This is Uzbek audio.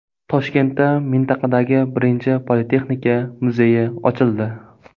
Toshkentda mintaqadagi birinchi Politexnika muzeyi ochildi.